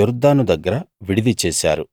యొర్దాను దగ్గర విడిది చేశారు